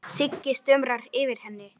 Sigga stumrar yfir henni.